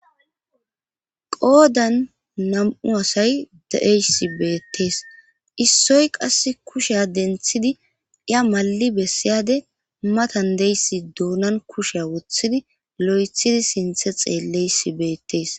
qoodan nam7u asay de7eys beettees issoy qass kushea denthidi iya ma7i bessiyade matan deyssi doonan kusheya wothidi lo7ethidi sinthe xeelleysi beettees